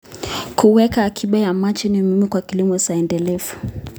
Kuweka akiba ya maji ni muhimu kwa kilimo endelevu.